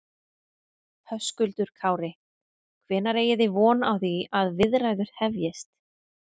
Höskuldur Kári: Hvenær eigi þið von á því að viðræður hefjist?